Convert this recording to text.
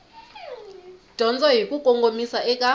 dyondzo hi ku kongomisa eka